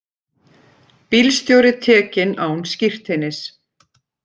Bílstjóri tekinn án skírteinis